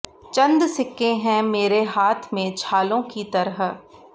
चंद सिक्के हैं मेरे हाथ में छालों की तरह